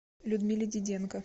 людмиле диденко